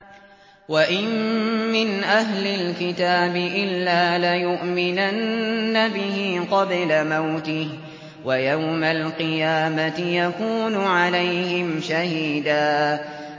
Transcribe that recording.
وَإِن مِّنْ أَهْلِ الْكِتَابِ إِلَّا لَيُؤْمِنَنَّ بِهِ قَبْلَ مَوْتِهِ ۖ وَيَوْمَ الْقِيَامَةِ يَكُونُ عَلَيْهِمْ شَهِيدًا